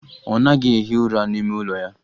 Ọ naghị ehi ụra n'ime ụlọ ya.